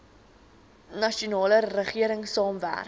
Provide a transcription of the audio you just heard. nasionale regering saamwerk